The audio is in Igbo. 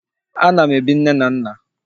A na m ebi nne m nna